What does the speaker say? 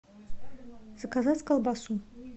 заказать колбасу